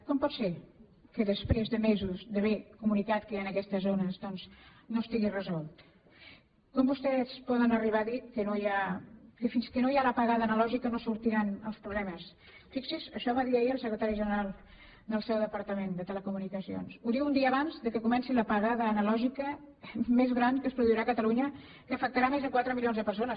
com pot ser que després de mesos d’haver comunicat que hi han aquestes zones doncs no estigui resolt com vostès poden arribar a dir que fins que no hi ha l’apagada analògica no sortiran els problemes fixi’s això ho va dir ahir el secretari general del seu departament de telecomunicacions ho diu un dia abans que comenci l’apagada analògica més gran que es produirà a catalunya que afectarà més de quatre milions de persones